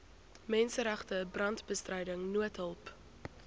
menseregte brandbestryding noodhulp